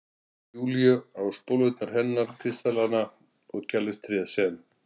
Júlíu, á spólurnar hennar, kristallana og kærleikstréð sem